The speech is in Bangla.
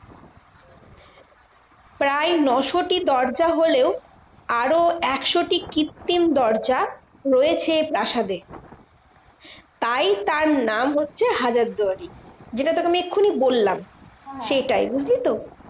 প্রায় ন শো টি দরজা হলেও আরও একশো টি কৃত্তিম দরজা হয়েছে প্রাসাদে। তাই তার নাম হচ্ছে হাজারদুয়ারি। যেটা তোকে আমি এক্ষুনি বললাম, সেটাই বুঝলি তো?